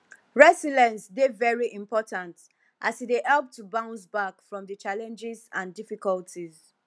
resilience dey very important as e dey help to bounce back from di challenges and difficulties